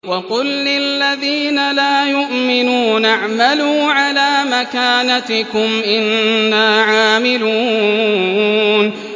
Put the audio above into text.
وَقُل لِّلَّذِينَ لَا يُؤْمِنُونَ اعْمَلُوا عَلَىٰ مَكَانَتِكُمْ إِنَّا عَامِلُونَ